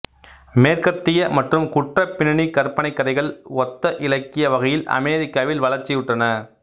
மேற்கத்திய மற்றும் குற்றப்பின்னணி கற்பனைக்கதைகள் ஒத்த இலக்கிய வகைகள் அமெரிக்காவில் வளர்ச்சியுற்றன